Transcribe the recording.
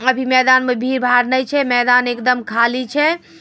अभी मैदान मे भीड़-भाड़ ने छै। मैदान एकदम खाली छै ।